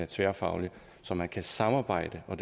tværfaglig så man kan samarbejde og